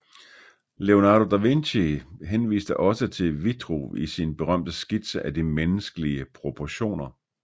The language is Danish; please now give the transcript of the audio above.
Leonardo da Vinci henviste også til Vitruv i sin berømte skitse af de menneskelige proportioner